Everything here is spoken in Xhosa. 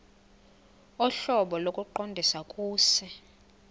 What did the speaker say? ohlobo lokuqondisa kuse